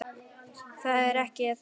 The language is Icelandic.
Þetta er ekki það sama.